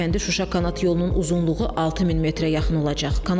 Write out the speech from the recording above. Xankəndi Şuşa kanat yolunun uzunluğu 6000 metrə yaxın olacaq.